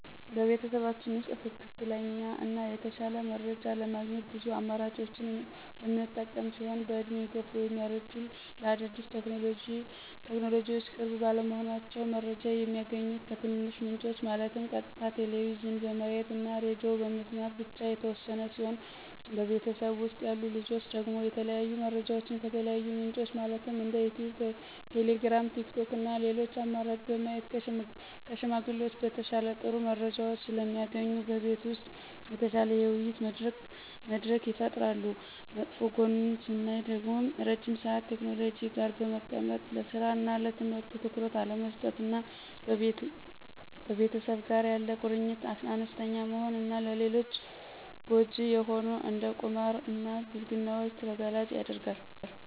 በቤተሰባችን ውስጥ ትክክለኛ እና የተሻለ መረጃ ለማግኘት ብዙ አማራጮችን የምንጠቀም ሲሆን በእድሜ የገፉት (ያረጁት) ለአዳዲስ ቴክኖሎጅዎች ቅርብ ባለመሆናቸው። መረጃ የሚያገኙት ከትንንሽ ምንጮች ማለትም ቀጥታ ቴሌቭዥን በማየት እና ሬድዬ በመስማት ብቻ የተወሰነ ሲሆን በቤተሰብ ውስጥ ያሉ ልጆች ደግሞ የተለያዩ መረጃዎችን ከተለያዩ ምንጮች ማለትም እንደ ዩቲዩብ: ቴሌግራም: ቲክቶክ እና ሌሎች አማራጭ በማየት ከሽማግሌዎች በተሻለ ጥሩ መረጃዎች ስለሚያገኙ በቤት ውስጥ የተሻለ የውይይት መድረክ ይፈጠራል። መጥፎ ጎኑን ስናይ ደግሞ ረዥም ሰአት ቴክኖሎጂ ጋር በመቀመጥ ለስራ እና ለትምህርት ትኩረት አለመስጠት እና ከቤተሰብ ጋር ያለ ቁርኝት አነስተኛ መሆን እና ለልጆች ጎጅ የሆኑ እንደ ቁማር እና ብልግናዎችን ተጋላጭ ያደርጋል።